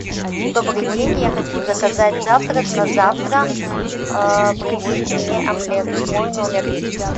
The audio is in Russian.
добрый день я хочу заказать завтрак на завтра принесите мне омлет в мой номер